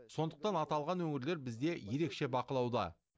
сондықтан аталған өңірлер бізде ерекше бақылауда